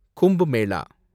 Kumbh மேலா